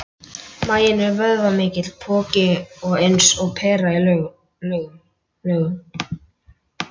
Maginn er vöðvamikill poki og eins og pera í lögun.